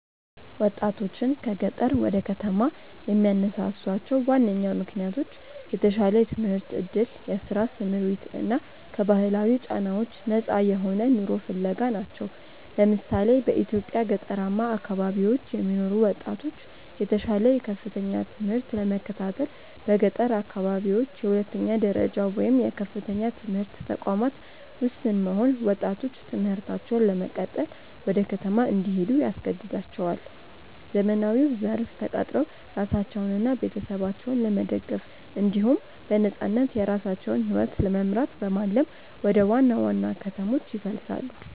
ወጣቶችን ከገጠር ወደ ከተማ የሚያነሳሷቸው ዋነኛ ምክንያቶች የተሻለ የትምህርት ዕድል፣ የሥራ ስምሪት እና ከባህላዊ ጫናዎች ነፃ የሆነ ኑሮ ፍለጋ ናቸው። ለምሳሌ፣ በኢትዮጵያ ገጠራማ አካባቢዎች የሚኖሩ ወጣቶች የተሻለ የከፍተኛ ትምህርት ለመከታተል በገጠር አካባቢዎች የሁለተኛ ደረጃ ወይም የከፍተኛ ትምህርት ተቋማት ውስን መሆን ወጣቶች ትምህርታቸውን ለመቀጠል ወደ ከተማ እንዲሄዱ ያስገድዳቸዋል። ዘመናዊው ዘርፍ ተቀጥረው ራሳቸውንና ቤተሰባቸውን ለመደገፍ እንዲሁም በነፃነት የራሳቸውን ሕይወት ለመምራት በማለም ወደ ዋና ዋና ከተሞች ይፈልሳሉ።